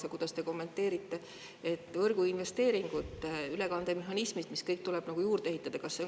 Aga kuidas te kommenteerite võrguinvesteeringuid, ülekandemehhanisme ja kõike muud, mis tuleb juurde ehitada?